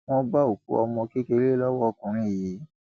wọn bá òkú ọmọ kékeré lọwọ ọkùnrin yìí